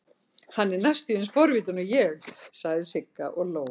Hann er næstum eins forvitinn og ég, sagði Sigga og hló.